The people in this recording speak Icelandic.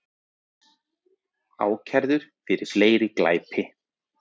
Ákærður fyrir fleiri glæpi